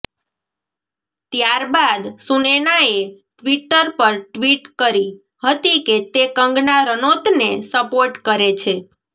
ત્યારબાદ સુનૈનાએ ટ્વિટર પર ટ્વીટ કરી હતી કે તે કંગના રનૌતને સપોર્ટ કરે છે